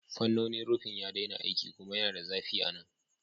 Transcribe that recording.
Fannonin rufin ya daina aiki kuma yana da zafi a nan.